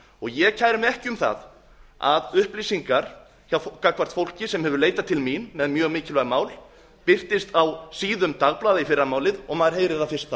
ég kæri mig ekki um það að upplýsingar gagnvart fólki sem hefur leitað til mín með mjög mikilvæg mál birtist á síðum dagblaða í fyrramálið og maður heyri það fyrst